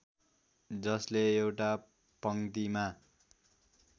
जसले एउटा पङ्क्तिमा